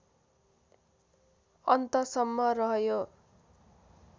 अन्तसम्म रह्यो